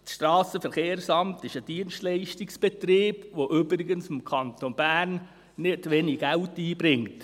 Das SVSA ist ein Dienstleistungsbetrieb, der übrigens dem Kanton Bern nicht wenig Geld einbringt.